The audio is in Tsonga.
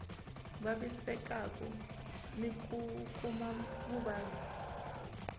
vavisekaku ni ku kuma vuvabyi